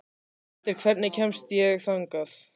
Valter, hvernig kemst ég þangað?